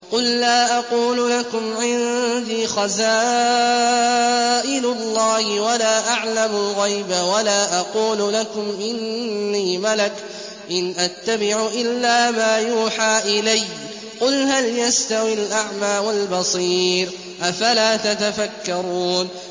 قُل لَّا أَقُولُ لَكُمْ عِندِي خَزَائِنُ اللَّهِ وَلَا أَعْلَمُ الْغَيْبَ وَلَا أَقُولُ لَكُمْ إِنِّي مَلَكٌ ۖ إِنْ أَتَّبِعُ إِلَّا مَا يُوحَىٰ إِلَيَّ ۚ قُلْ هَلْ يَسْتَوِي الْأَعْمَىٰ وَالْبَصِيرُ ۚ أَفَلَا تَتَفَكَّرُونَ